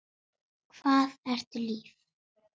Hvað ertu líf?